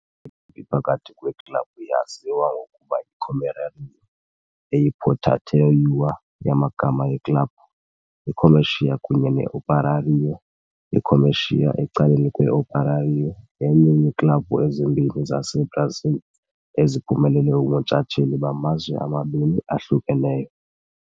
phakathi kweeklabhu yaziwa ngokuba yi"-Comerário", eyi- portmanteau yamagama eeklabhu, i-Comercial kunye ne-Operário. I-Comercial, ecaleni kwe-Operário, yenye yeeklabhu ezimbini zaseBrazil eziphumelele ubuntshatsheli bamazwe amabini ahlukeneyo.